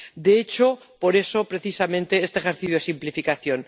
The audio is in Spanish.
De hecho, por eso precisamente, este ejercicio de simplificación.